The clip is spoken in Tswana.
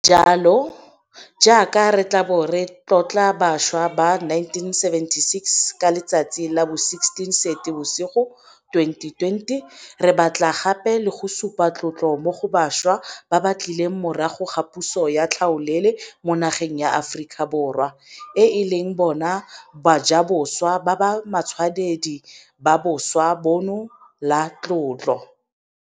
Ka jalo, jaaka re tla bo re tlotla bašwa ba 1976 ka letsatsi la bo 16 Seetebosigo 2020, re batla gape le go supa tlotlo mo go bašwa ba ba tlileng morago ga puso ya tlhaolele mo nageng ya Aforika Borwa, e leng bona bajaboswa ba ba matshwanedi ba boswa bono la tlotlo.